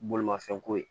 Bolimafɛn ko ye